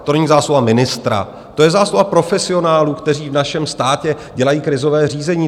To není zásluha ministra, to je zásluha profesionálů, kteří v našem státě dělají krizové řízení.